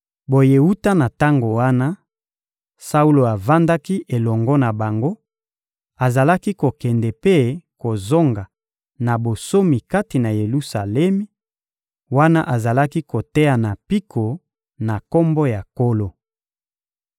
Boye, wuta na tango wana, Saulo avandaki elongo na bango, azalaki kokende mpe kozonga na bonsomi kati na Yelusalemi, wana azalaki koteya na mpiko, na Kombo ya Nkolo.